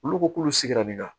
Olu ko k'olu sigira min na